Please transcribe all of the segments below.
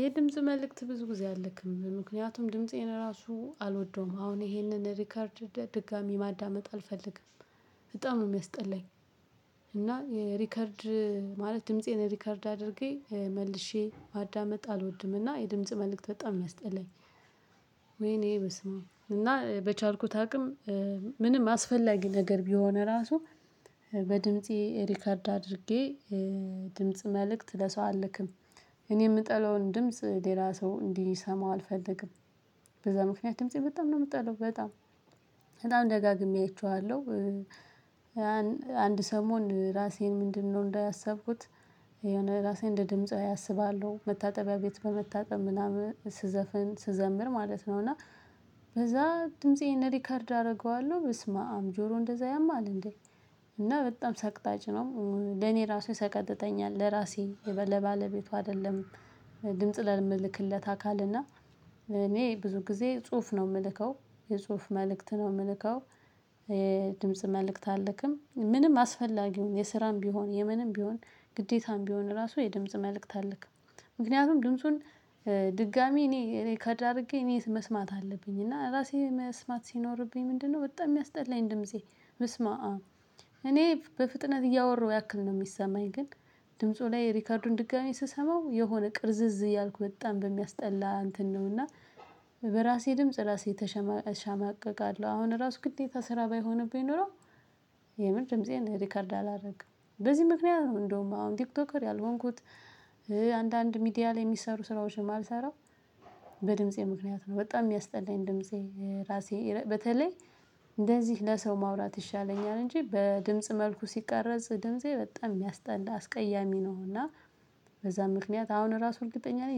የድምጽ መልእክት ብዙ ጊዜ አልልክም፤ ምክንያቱም ድምፄን ራሱ አልወደውም፤ አሁን ይሄንን ሪከርድ ድጋሚ ማዳመጥ አልፈልግም፤ በጣም ነው የሚያስጠላኝ። እና ሪከርድ ማለት ድምፄን ሪከርድ አድርጌ መልሼ ማዳመጥ አልወድምና የድምጽ መልእክት በጣም የሚያስጥለኝ። ወይኔ በስመአብ እና በቻልኩት አቅም ምንም አስፈላጊ ነገር ቢሆን ራሱ በድምፄ ሪከርድ አድርጌ ድምጽ መልእክት ለሰው አልክም፤ እኔ የምጠለውን ድምጽ ሌላ ሰው እንዲሰማው አልፈልግም። በዛ ምክንያት ድምፄ በጣም ነው የምጠለው፤ በጣም በጣም ደጋግሜ አይቼዋለሁ። አንድ ሰሞን ራሴን ምንድነው እንዳያሰብኩት የሆነ ራሴን እንደ ድምጻዊ አስባለሁ፤ መታጠቢያ ቤት በመታጠብ ምናምን ስዘፍን ስዘምር ማለት ነው እና በዛ ድምፄን ሪከርድ አደርገዋለሁ፤ በስመአም ጆሮ እንደዛ ያማል እንዴ? እና በጣም ሰቅጣጭ ነው፤ ለኔ ራሱ ይሰቀጥተኛል፤ ለራሴ ለባለቤቱ አይደለም። ድምጽ ለምልክለት አካል እና እኔ ብዙ ጊዜ ጽሁፍ ነው የምልከው የጽሁፍ መልእክት ነው የምልከው። የድምጽ መልእክት አልክም ምንም አስፈላጊውን የስራም ቢሆን የምንም ቢሆን ግዴታም ቢሆን ራሱ የድምጽ መልእክት አለክም። ምክንያቱም ድምጹን ድጋሚ እኔ እኔ ሪከርድ አድርጌ እኔ መስማት አለብኝ እና ራሴ መስማት ሲኖርብኝ ምንድነው በጣም የሚያስጠላኝ ድምፄ በስመአም፤ እኔ በፍጥነት እያወራሁ ያክል ነው የሚሰማኝ ግን። ድምፁ ላይ ሪከርዱን ድጋሚ ስሰማው የሆነ ቅርዝዝ እያልኩ በጣም በሚያስጠላ እንትን ነው እና። በራሴ ድምጽ ራሴ እሸማቀቃለሁ፤ አሁን ራሱ ግዴታ ስራ ባይሆንብኝ ኖሮ የምር ድምፄን ሪከርድ አላደርግም፤ በዚህ ምክንያት ነው እንደውም አሁን ቲክቶከር ያልሆንኩት። አንዳንድ ሚዲያ ላይ የሚሰሩ ስራዎችን የማልሰራው። በድምፄ ምክንያት ነው በጣም የሚያስጠላኝ ድምፄ ራሴ በተለይ። እንደዚህ ለሰው ማውራት ይሻለኛል እንጂ በድምጽ መልኩ ሲቀረጽ ድምፄ በጣም የሚያስጠላ አስቀያሚ ነው እና። በዛ ምክንያት አሁን ራሱ እርግጠኛ ላይ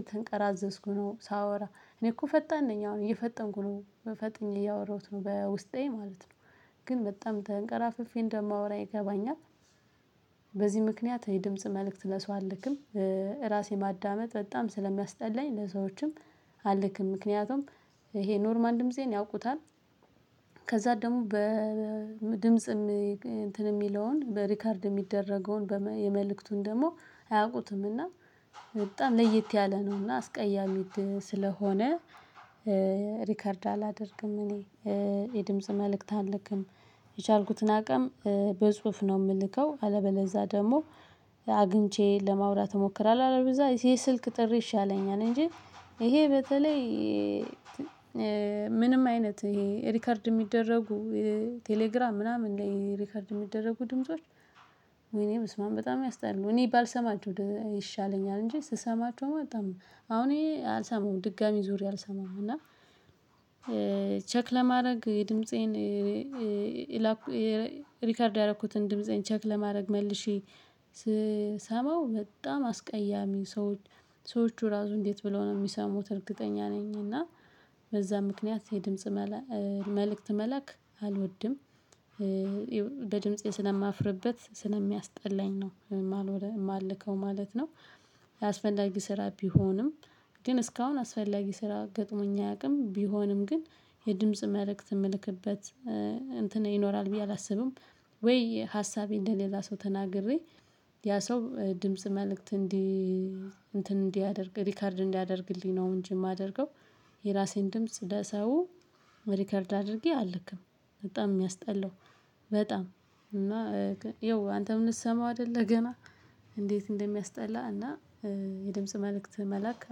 የተንቀራዘዝኩ ነው ሳወራ፤ እኔ እኮ ፈጣን ነኝ አሁን እየፈጠንኩ ነው። ፈጥኜ እያወራሁት ነው በውስጤ ማለት ነው። ግን በጣም ተንቀራፍፌ እንደማወራ ይገባኛል። በዚህ ምክንያት የድምጽ መልእክት ለሰው አልክም፤ ራሴን ማዳመጥ በጣም ስለሚያስጠላኝ ለሰዎችም አለክም ምክንያቱም ይሄ ኖርማል ደምሴን ያውቁታል። ከዛ ደግሞ በድምጽም እንትን የሚለውን በሪከርድ የሚደረገውን የመልእክቱን ደግሞ አያውቁትም እና በጣም ለይት ያለ ነው። እና አስቀያሚ እንትን ስለሆነ ሪከርድ አላደርግም እኔ የድምጽ መልእክት አልክም፤ የቻልኩትን አቅም በጽሁፍ ነው የምልከው፤ አለበለዛ ደግሞ ለማውራት እሞክራለሁ፤ አለበለዛ የስልክ ጥሪ ይሻለኛል፤ እንጂ ይሄ በተለይ ምንም አይነት ይሄ ሪከርድ የሚደረጉ ቴሌግራም ምናምን ላይ ሪከርድ የሚደረጉ ድምጾች ወይኔ በስማም በጣም ያስጠላሉ፤ እኔ ባልሰማችሁ ይሻለኛል እንጂ ስሰማችሁም በጣም አሁን ይሄ አልሰማዉም ድጋሚ ዙሪያ አልሰማም እና። ቼክ ለማድረግ የድምፄን የላኩ ሪከርድ ያደረኩትን ድምፄን ቼክ ለማድረግ መልሼ ስሰማው በጣም አስቀያሚ ሰው ሰዎቹ ራሱ እንዴት ብለው ነው የሚሰሙት እርግጠኛ ነኝ እና በዛ ምክንያት የድምጽ መልእክት መላክ አልወድም። በድምጼ ስለማፍርበት ስለሚያስጠላኝ ነው የማልከው ማለት ነው፤ አስፈላጊ ስራ ቢሆንም ግን እስካሁን አስፈላጊ ስራ ገጥሞኝ አያውቅም፤ ቢሆንም ግን የድምጽ መልእክት የምልክበት እንትን ይኖራል ብዬ አላስብም። ወይ ሀሳቤ እንደሌላ ሰው ተናግሬ ያ ሰው ድምጽ መልእክት እንዲ እንትን እንዲያደርግ ሪከርድ እንዲያደርግልኝ ነው እንጂ የማደርገው። የራሴን ድምጽ ለሰው ሪከርድ አድርጌ አልክም፤ በጣም የሚያስጠላው በጣም እና ያው አንተም ልትሰማው አይደል ገና እንዴት እንደሚያስጠላ እና የድምጽ መልእክት መላክ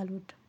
አልወድም